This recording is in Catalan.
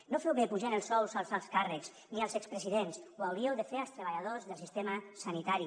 no feu bé apujant els sous als alts càrrecs ni als expresidents ho hauríeu de fer als treballadors del sistema sanitari